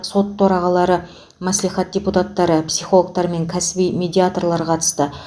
сот төрағалары мәслихат депутаттары психологтар мен кәсіби медиаторлар қатысты